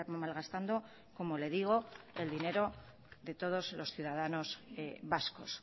malgastando como le digo el dinero de todos los ciudadanos vascos